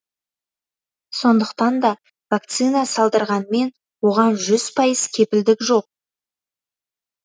сондықтан да вакцина салдырғанмен оған жүз пайыз кепілдік жоқ